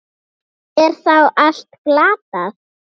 Er þá allt glatað?